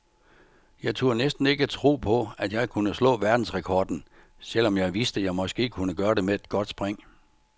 Jeg turde næsten ikke tro på, at jeg kunne slå verdensrekorden, selv om jeg vidste, jeg måske kunne gøre det med et godt spring.